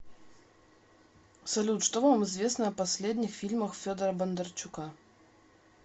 салют что вам известно о последних фильмах федора бондарчука